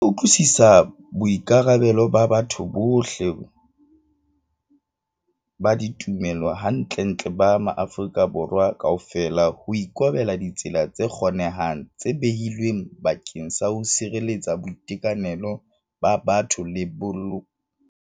Ba utlwisisa boikarabelo ba batho bohle ba ditumelo hantlentle ba maAfrika Borwa kaofela ho ikobela ditsela tse kgonehang tse behilweng bakeng sa ho sireletsa boitekanelo ba batho le ho boloka maphelo.